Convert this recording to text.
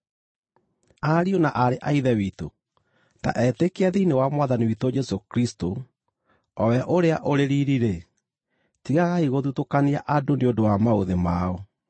Ariũ na aarĩ a Ithe witũ, ta etĩkia thĩinĩ wa Mwathani witũ Jesũ Kristũ, o we ũrĩa ũrĩ riiri-rĩ, tigagai gũthutũkanagia andũ nĩ ũndũ wa maũthĩ mao.